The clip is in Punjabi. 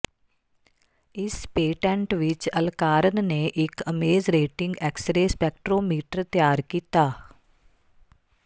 ਇਸ ਪੇਟੈਂਟ ਵਿੱਚ ਅਲਕਾਰਨ ਨੇ ਇੱਕ ਇਮੇਜਰੇਟਿੰਗ ਐਕਸਰੇ ਸਪੈਕਟ੍ਰੋਮੀਟਰ ਤਿਆਰ ਕੀਤਾ